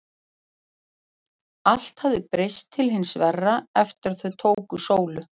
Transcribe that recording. Allt hafði breyst til hins verra eftir að þau tóku Sólu.